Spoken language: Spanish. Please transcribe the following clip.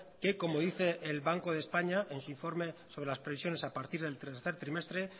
que cómo dice el banco de españa en su informe sobre las previsiones a partir del tercer trimestre